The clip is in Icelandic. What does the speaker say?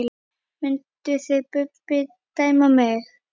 Mynduð þið Bubbi dæma mig?